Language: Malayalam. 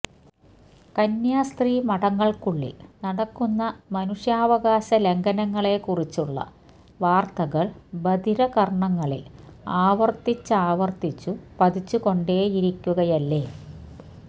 കന്യാസ്ത്രീ മഠങ്ങൾക്കുള്ളിൽ നടക്കുന്ന മനുഷ്യാവകാശ ലംഘനങ്ങളെക്കുറിച്ചുള്ള വാർത്തകൾ ബധിര കർണ്ണങ്ങളിൽ ആവർത്തിച്ചാവർത്തിച്ചു പതിച്ചുകൊണ്ടേയിരിക്കുകയല്ലേ